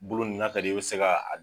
Bolo ni na ka di i ye i bɛ se ka a.